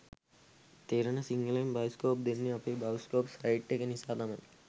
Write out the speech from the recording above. තේරෙන සිංහලෙන් බයිස්කෝප් දෙන්නේ අපේ බයිස්කෝප් සයිට් එක නිසා තමා